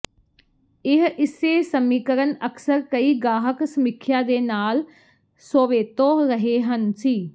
ਇਹ ਇਸੇ ਸਮੀਕਰਨ ਅਕਸਰ ਕਈ ਗਾਹਕ ਸਮੀਖਿਆ ਦੇ ਨਾਲ ਸੋਵੇਤੋ ਰਹੇ ਹਨ ਸੀ